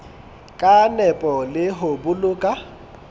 ka nepo le ho boloka